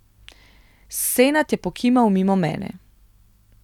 Senad je pokimal mimo mene.